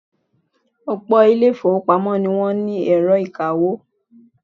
Ọ̀pọ̀ ilé-ìfowópamọ́ ni wọ́n ní ẹ̀rọ ìkawó.